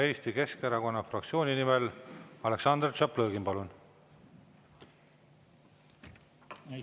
Eesti Keskerakonna fraktsiooni nimel Aleksandr Tšaplõgin, palun!